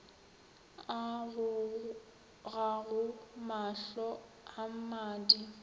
a gogago mahlo a mmadi